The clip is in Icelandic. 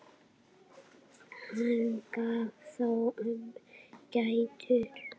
Hann gaf þó ömmu gætur.